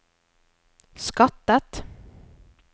skattet